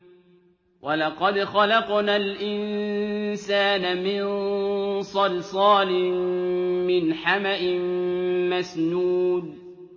وَلَقَدْ خَلَقْنَا الْإِنسَانَ مِن صَلْصَالٍ مِّنْ حَمَإٍ مَّسْنُونٍ